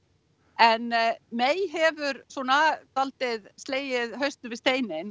en hefur svona svolítið slegið hausnum við steininn